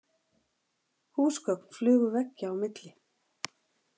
Húsgögn flugu veggja á milli.